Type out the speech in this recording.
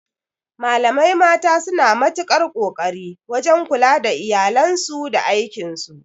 Malamai mata suna matukar ƙoƙari wajan kula da iyalansu da aikin su